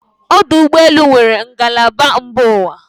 ọdụ ụgbọ elu nwere ngalaba mba ụwa